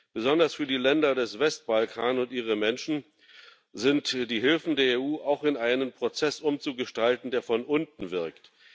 Besonders für die Länder des Westbalkan und ihre Menschen sind die Hilfen der EU auch in einen Prozess umzugestalten, der von unten wirkt.